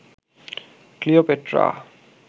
Cleopatra